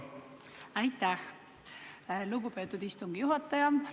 Aitäh, lugupeetud istungi juhataja!